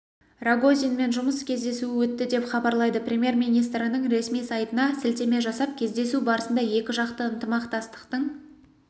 рогозинмен жұмыс кездесуі өтті дееп хабарлайды премьер-министрінің ресми сайтына сілтеме жасап кездесу барысында екіжақты ынтымақтастықтың